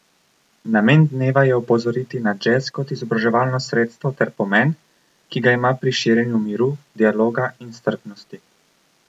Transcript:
Namen dneva je opozoriti na džez kot izobraževalno sredstvo ter pomen, ki ga ima pri širjenju miru, dialoga in strpnosti.